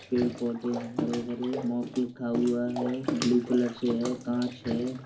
पेड़-पौधे हैं हरे-भरे। लिखा हुआ है। ब्लू कलर से है कांच है।